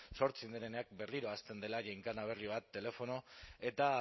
sortzen direnean berriro hasten dela ginkana berri bat telefono eta